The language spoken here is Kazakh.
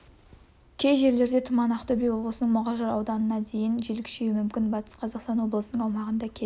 кей жерлерде тұман ақтөбе облысының мұғалжар ауданында дейін жел күшеюі мүмкін батыс қазақстан облысының аумағында кей